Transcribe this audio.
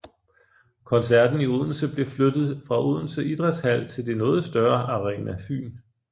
Koncerten i Odense blev flyttet fra Odense Idrætshal til det noget større Arena Fyn